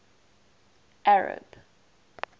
arab